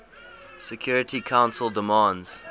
security council demands